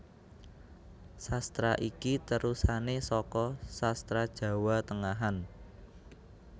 Sastra iki terusané saka Sastra Jawa Tengahan